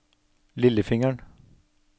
lillefingeren